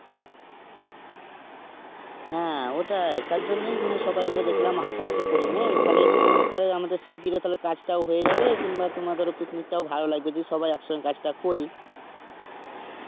হ্যাঁ ওটাই তার জন্যই মানে সবাই মিলে দেখলাম হাতা পাতি করেনি তাহলে আমাদের শিগগিরি কাজটাও হয়ে যাবে কিংবা তোমাদের picnic টাও ভালো লাগবে যে সবাই একসাথে কাজটা করি.